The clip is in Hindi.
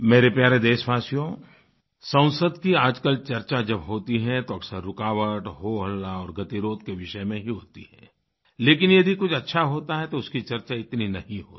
मेरे प्यारे देशवासियों संसद की आजकल चर्चा जब होती है तो अक्सर रुकावट होहल्ला और गतिरोध के विषय में ही होती है लेकिन यदि कुछ अच्छा होता है तो उसकी चर्चा इतनी नहीं होती